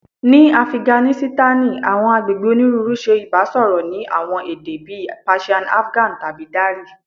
Ni Afiganisitani, awọn agbegbe oniruuru ṣe ibasọrọ ni awọn ede bii Persian Afgan tabi Dari